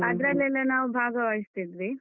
ಅದ್ರಲ್ಲೆಲ್ಲ ನಾವು ಭಾಗವಹಿಸ್ತಿದ್ವಿ.